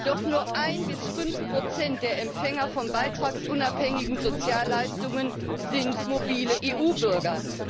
Doch nur 1 bis 5 der Empfänger von beitragsunabhängigen Sozialleistungen sind mobile EU Bürger.